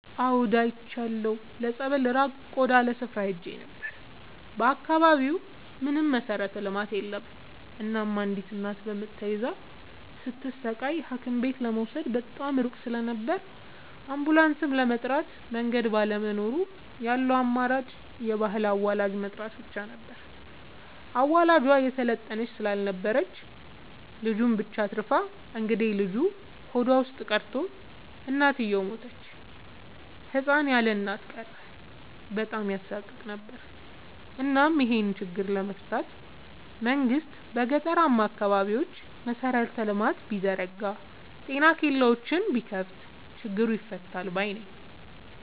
አዎድ አይቻለሁ ለፀበል ራቅ ወዳለ ስፍራ ሄጄ ነበር። በአካባቢው ምንም መሠረተ ልማት የለም እናም አንዲት እናት በምጥ ተይዛ ስትሰቃይ ሀኪምቤት ለመውሰድ በጣም ሩቅ ስለነበር አንቡላስም ለመጥራት መንገድ ባለመኖሩ ያለው አማራጭ የባህል አዋላጅ መጥራት ብቻ ነበር። አዋላጇ የሰለጠነች ስላልነበረች ልጁን ብቻ አትርፋ እንግዴልጁ ሆዷ ውስጥ ቀርቶ እናትየው ሞተች ህፃን ያለእናት ቀረ በጣም ያሳቅቅ ነበር እናም ይሄን ችግር ለመፍታት መንግስት በገጠራማ አካባቢዎች መሰረተ ልማት ቢዘረጋ ጤና ኬላዎችን ቢከፋት ችግሩ ይፈታል ባይነኝ።